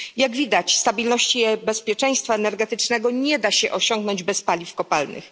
Jak widać, stabilności i bezpieczeństwa energetycznego nie da się osiągnąć bez paliw kopalnych.